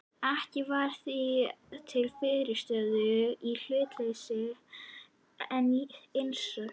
Ekkert var því til fyrirstöðu í hlutleysisreglum, en eins og